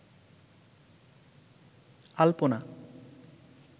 আলপনা